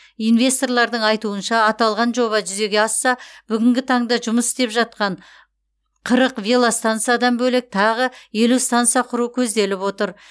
инвесторлардың айтуынша аталған жоба жүзеге асса бүгінгі таңда жұмыс істеп жатқан қырық велостансадан бөлек тағы елу станса құру көзделіп отыр